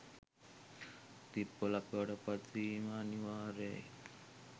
තිප්පොළක් බවට පත් වීම අනිවාර්යයි.